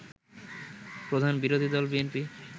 প্রধান বিরোধী দল বিএনপি